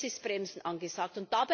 Jetzt ist Bremsen angesagt.